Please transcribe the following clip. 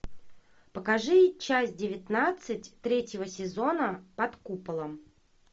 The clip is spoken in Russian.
покажи часть девятнадцать третьего сезона под куполом